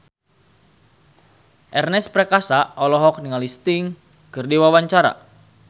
Ernest Prakasa olohok ningali Sting keur diwawancara